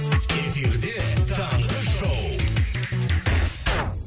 эфирде таңғы шоу